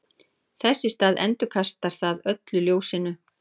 þess í stað endurkastar það öllu ljósinu